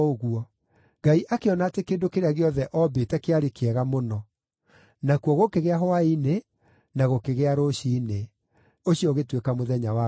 Ngai akĩona atĩ kĩndũ kĩrĩa gĩothe oombĩte kĩarĩ kĩega mũno. Nakuo gũkĩgĩa hwaĩ-inĩ na gũkĩgĩa rũciinĩ. Ũcio ũgĩtuĩka mũthenya wa gatandatũ.